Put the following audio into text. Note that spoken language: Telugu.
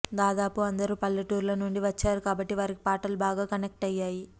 దాదాపు అందరూ పల్లెటూర్ల నుండి వచ్చారు కాబట్టి వారికి పాటలు బాగా కనెక్ట్ అయ్యాయి